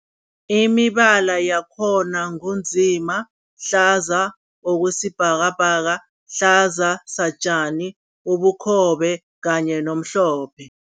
Imibala yakhona ngu nzima, hlaza okwesibhakabhaka, hlaza satjani, ubukhobe kanye nomhlophe.